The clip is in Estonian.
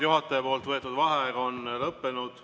Juhataja võetud vaheaeg on lõppenud.